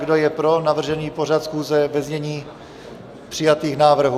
Kdo je pro navržený pořad schůze ve znění přijatých návrhů?